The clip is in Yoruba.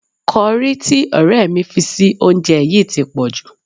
Kọrí tí ọ̀rẹ́ mi fi sí oúnjẹ yìí ti pọ̀jù